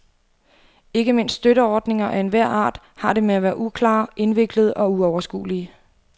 Ikke mindst støtteordninger af enhver art har det med at være uklare, indviklede og uoverskuelige.